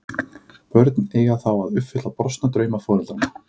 Börnin eiga þá að uppfylla brostna drauma foreldranna.